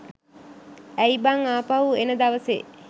ඇයි බං ආපහු එන දවසේ